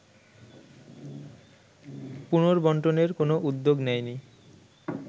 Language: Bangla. পুনর্বণ্টনের কোনো উদ্যোগ নেয়নি